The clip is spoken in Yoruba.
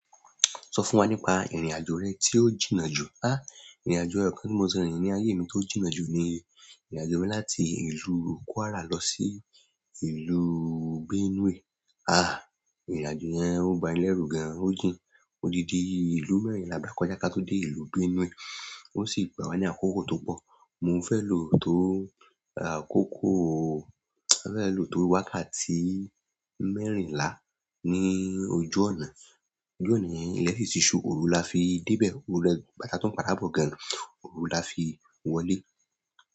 Sọ fún wa nípa ìrìn-àjò rẹ tí o jìnnà jù. Ha! Ìrìn-àjò kan tí mo ti rí ní ayé mi tí o jìnnà jù ni ìrìn-àjò mi láti ìlú Kwara lọ sí ìlú Benue. Ha! Ìrìn-àjò yẹn o bani lẹrù gan, o jìn. Odidi ìlú mẹ́rin ni agba kọjá ki a ti dé ìlú Benue o sí gbà wá ní àkókò to pọ. Mo fẹ́ lo tó àkókò, mo fẹ́ lọ tó wákàtí mẹ́rìnlá ní ojú ọ̀nà. Ojú ọ̀nà yẹn, ìlẹ́ sì tí ṣù, òru la fi dé bẹ̀, òru lẹ́kún, látà tó ń padà bọ̀ gan, òru la fi wọlé.